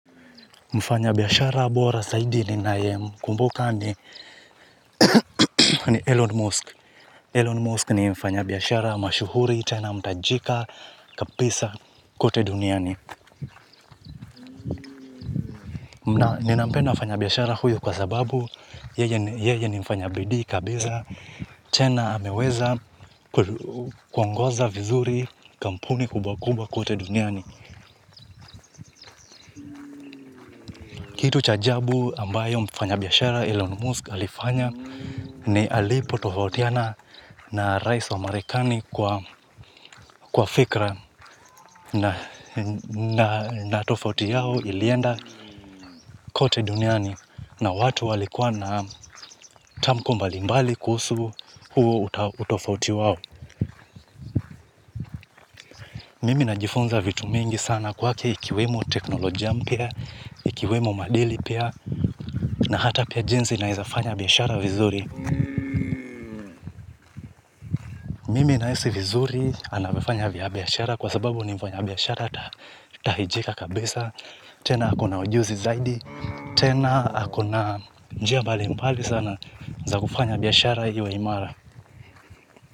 Mfanyabiashara bora zaidi ninayemkumbuka ni Elon Musk. Elon Musk ni mfanyabiashara mashuhuri tena mtajika kabisa kote duniani. Ninampenda mfanyabiashara huyu kwa sababu yeye ni mfanya bidii kabisa. Tena ameweza kuongoza vizuri kampuni kubwa kubwa kote duniani. Kitu cha ajabu ambayo mfanyabiashara Elon Musk alifanya ni alipotofautiana na rais wa marekani kwa fikira na na tofauti yao ilienda kote duniani na watu walikuwa na tamko mbalimbali kuhusu huo utofauti wao. Mimi najifunza vitu mingi sana kwake ikiwemo teknolojia mpya, ikiwemo maadili pia na hata pia jinsi naweza fanya biashara vizuri. Mimi nahisi vizuri anavyofanya biashara kwa sababu ni mfanyabiashara tahijika kabisa, tena ako na ujuzi zaidi, tena ako na njia mbalimbali sana za kufanya biashara iwe imara.